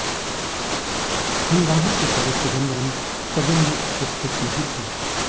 हंगामे के समय चिदंबरम सदन में उपस्थित नहीं थे